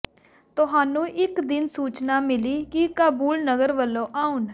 ਤੁਹਾਨੂੰ ਇੱਕ ਦਿਨ ਸੂਚਨਾ ਮਿਲੀ ਕਿ ਕਾਬੁਲ ਨਗਰ ਵਲੋਂ ਆਉਣ